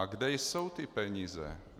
A kde jsou ty peníze?